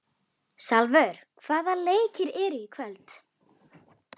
Salvör, hvaða leikir eru í kvöld?